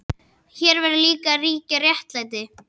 Hér verður líka að ríkja réttlæti.